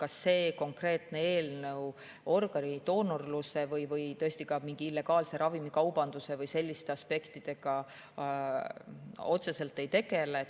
Aga see konkreetne eelnõu organidoonorluse või ka illegaalse ravimikaubanduse või selliste aspektidega otseselt ei tegele.